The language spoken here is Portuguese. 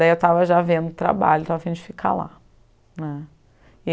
Daí eu já estava vendo trabalho e estava a fim de ficar lá né.